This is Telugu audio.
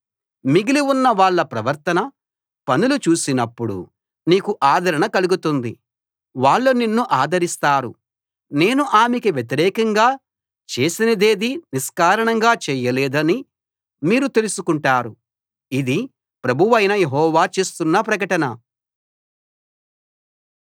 మిగిలి ఉన్న వాళ్ళ ప్రవర్తన పనులు చూసినప్పుడు నీకు ఆదరణ కలుగుతుంది వాళ్ళు నిన్ను ఆదరిస్తారు నేను ఆమెకి వ్యతిరేకంగా చేసినదేదీ నిష్కారణంగా చేయలేదని మీరు తెలుసుకుంటారు ఇది ప్రభువైన యెహోవా చేస్తున్న ప్రకటన